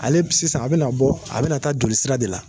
Ale sisan a bɛna bɔ a bɛna taa joli sira de la.